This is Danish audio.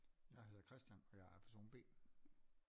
Jeg hedder Christian og jeg er person B